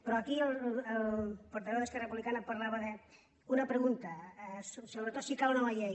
però aquí el portaveu d’esquerra republicana parlava d’una pregunta sobretot si cal una nova llei